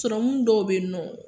dɔw be yen nɔ.